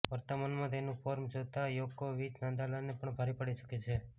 વર્તમાનમાં તેનું ફોર્મ જોતા યોકોવિચ નાદાલને પણ ભારે પડી શકે છે